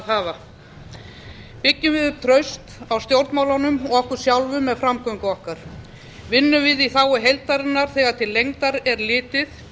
hafa byggjum við upp traust á stjórnmálunum og okkur sjálfum með framgöngu okkar vinnum við í þágu heildarinnar þegar til lengdar er litið